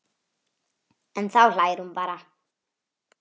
En þá hlær hún bara.